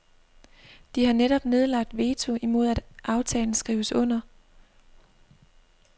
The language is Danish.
De har netop nedlagt veto imod at aftalen skrives under.